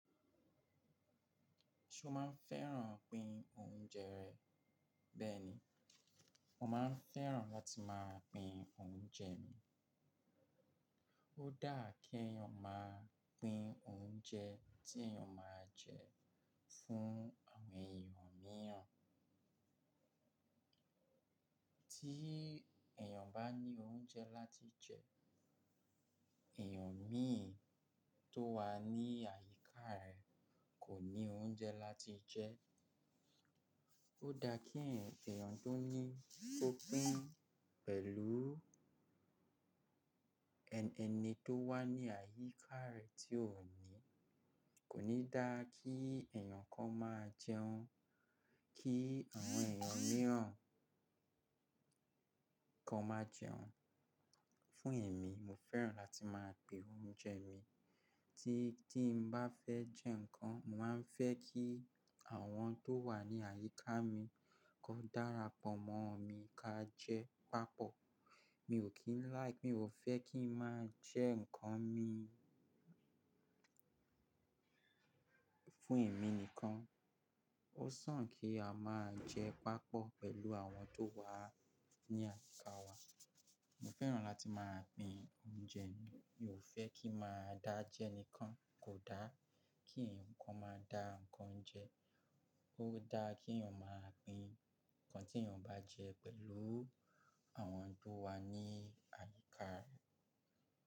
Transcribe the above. Ṣe oo máa ń fẹ́ràn pín oúnjẹ rẹ? Bẹ́ẹ̀ ni, mo máa ń fẹ́ràn láti máa pín oúnjẹ mi. Ó dáa kí èèyàn máa pín oúnjẹ tí èèyàn máa jẹ fún àwọn èèyàn mìíràn. Tí èèyàn bá ní oúnjẹ láti jẹ, èèyàn mìíràn tó wà ní àyíká rẹ̀ kò ní oúnjẹ láti jẹ. Ó dáa kí èèyàn tó ní kó pín pẹ̀lú ẹni tó wà ní àyíká rẹ̀ tí ò ní. Kò ní dáa kí èèyàn kan máa jẹun, kí àwọn èèyàn mìíràn ki won máa jẹun. Fún èmi, mo fẹ́ràn láti máa pín oúnjẹ mi. Tí dí n bá fẹ́ jẹ nǹkan, mo màá ń fẹ́ kí àwọn tó wà ní àyíká mi kó darapọ̀ mọ́ mi ká jẹ papọ̀. Mi ò kín like-- mi ò fẹ́ kí ń máa jẹ nǹkan mi fún èmi nìkan. Ó sàn kí a máa jẹ papọ̀ pẹ̀lú àwọn tó wà ní àyíká wa. Mo fẹ́ràn láti máa pín oúnjẹ mi. Mi ò fẹ́ kí màá dá jẹ nìkan. Kò dáa kí ǹkan máa dá nǹkan jẹ. Ó dáa kí èèyàn máa pín nǹkan tí èèyàn bá jẹ pẹ̀lú àwọn tó wà ní àyíká rẹ̀